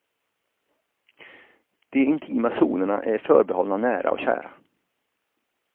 De intima zonerna är förbehållna nära och kära.